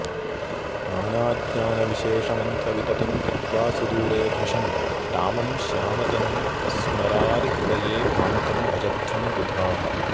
नानाज्ञानविशेषमन्त्रविततिं त्यक्त्वा सुदूरे भृशं रामं श्यामतनुं स्मरारिहृदये भान्तं भजध्वं बुधाः